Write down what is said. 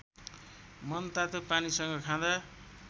मनतातो पानीसँग खाँदा